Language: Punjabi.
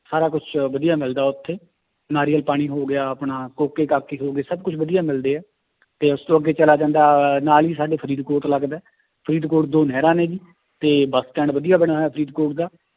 ਸਾਰ ਕੁਛ ਵਧੀਆ ਮਿਲਦਾ ਉੱਥੇ ਨਾਰੀਅਲ ਪਾਣੀ ਹੋ ਗਿਆ ਆਪਣਾ ਹੋ ਗਏ, ਸਭ ਕੁਛ ਵਧੀਆ ਮਿਲਦੇ ਹੈ ਤੇ ਉਸ ਤੋਂ ਅੱਗੇ ਚਲਾ ਜਾਂਦਾ ਹੈ ਨਾਲ ਹੀ ਸਾਡੇ ਫਰੀਦਕੋਟ ਲੱਗਦਾ ਹੈ ਫਰੀਦਕੋਟ ਦੋ ਨਹਿਰਾਂ ਨੇ ਜੀ ਤੇ ਬਸ stand ਵਧੀਆ ਬਣਿਆ ਹੋਇਆ ਫਰੀਦਕੋਟ ਦਾ